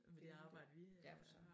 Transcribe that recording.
Det er rigtigt ja for søren